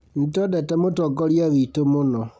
Nĩtwendete mũtongoria witũ mũno